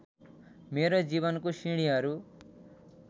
मेरो जीवनको सिँढीहरू